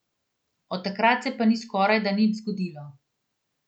Od takrat se pa ni skorajda nič zgodilo.